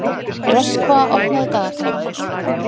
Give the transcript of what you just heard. Röskva, opnaðu dagatalið mitt.